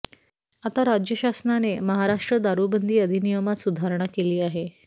आता राज्यशासनाने महाराष्ट्र दारूबंदी अधिनियमात सुधारणा केली आहे